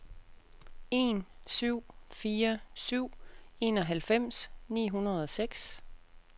en syv fire syv enoghalvfems ni hundrede og seks